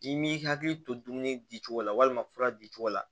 I m'i hakili to dumuni di cogo la walima fura di cogo la